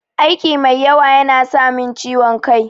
Aiki mai yawa yana samin ciwon kai.